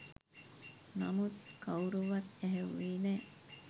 නමුත් කවුරුවත් ඇහැව්වේ නෑ